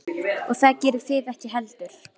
Og það gerið þið ekki heldur.